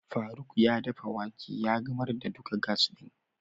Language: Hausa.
Faruk ya dafa wake ya gamar da duka gas din.